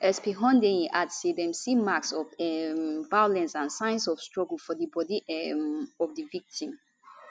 sp hundeyin add say dem see marks of um violence and signs of struggle for di body um of di victim